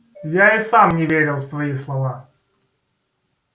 я и сам не верил в свои слова